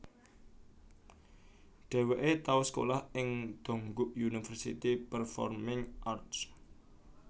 Dheweke tau sekolah ing Dongguk University Performing Arts